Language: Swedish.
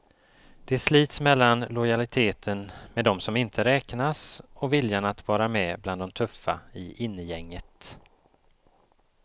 De slits mellan lojaliteten med dom som inte räknas och viljan att vara med bland de tuffa i innegänget.